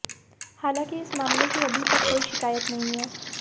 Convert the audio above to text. हालांकी इस मामले की अभी तक कोई शिकायत नहीं है